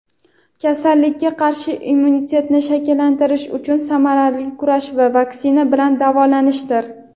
Kasallikka qarshi immunitetni shakllantirish uchun samarali kurash - bu vaksina bilan davolanishdir!.